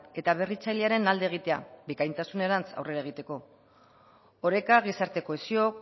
eta berritzailearen alde egitea bikaintasunerantz aurrera egiteko oreka gizarte kohesio